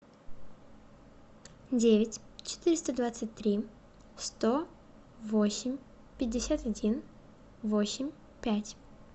девять четыреста двадцать три сто восемь пятьдесят один восемь пять